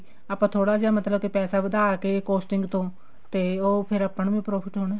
ਆਪਾਂ ਥੋੜਾ ਜਾ ਮਤਲਬ ਕੇ ਪੈਸਾ ਵਧਾ ਕੇ costing ਤੋਂ ਤੇ ਫ਼ੇਰ ਉਹ ਆਪਾਂ ਨੂੰ ਹੀ profit ਹੋਣਾ